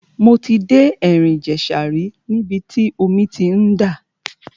Mo ti dé ẹ̀rìn ìjẹ̀ṣà rí níbi tí omi ti ń dà.